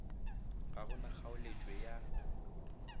ga go na kgaoletšwe ya